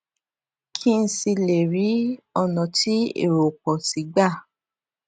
kí n sì lè rí ònà ti ero o pọ si gba